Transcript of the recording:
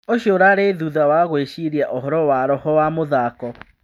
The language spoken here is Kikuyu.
... ũcio ũrarĩ thutha wa gũĩciria ũhoro wa roho wa mũthako."